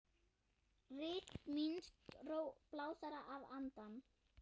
Ritmísk ró blásara að handan.